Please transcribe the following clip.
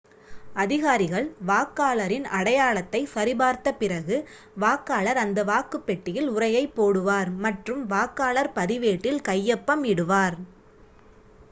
அதிகாரிகள் வாக்காளரின் அடையாளத்தைச் சரி பார்த்த பிறகு வாக்காளர் அந்த வாக்குப் பெட்டியில் உறையைப் போடுவார் மற்றும் வாக்காளர் பதிவேட்டில் கையொப்பம் இடுவார்